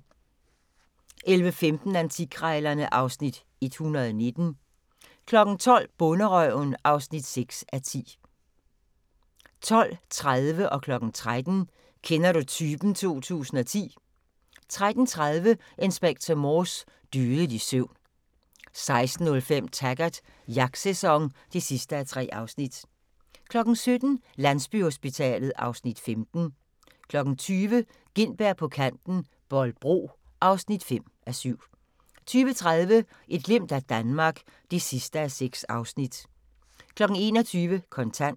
11:15: Antikkrejlerne (Afs. 119) 12:00: Bonderøven (6:10) 12:30: Kender du typen 2010 13:00: Kender du typen 2010 13:30: Inspector Morse: Dødelig søvn 16:05: Taggart: Jagtsæson (3:3) 17:00: Landsbyhospitalet (Afs. 15) 20:00: Gintberg på Kanten – Bolbro (5:7) 20:30: Et glimt af Danmark (6:6) 21:00: Kontant